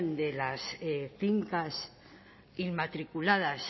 de las fincas inmatriculadas